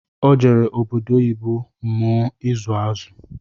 O jere obodo oyibo mụọ ịzụ azụ